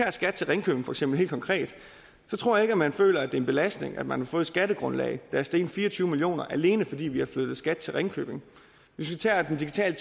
af skat til ringkøbing for eksempel helt konkret tror jeg ikke man føler at det er en belastning at man har fået et skattegrundlag der er steget med fire og tyve million kr alene fordi vi har flyttet skat til ringkøbing hvis vi tager den digitale